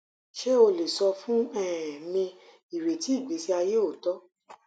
ṣe o le sọ fun um mi ireti igbesi aye ooto